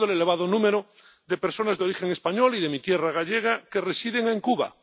Recuerdo el elevado número de personas de origen español y de mi tierra gallega que residen en Cuba.